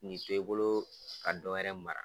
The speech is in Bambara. Nin bi to i bolo ka dɔwɛrɛ mara.